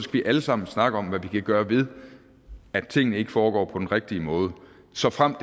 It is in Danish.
vi alle sammen snakke om hvad vi kan gøre ved at tingene ikke foregår på den rigtige måde såfremt